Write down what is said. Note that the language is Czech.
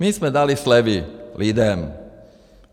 My jsme dali slevy lidem.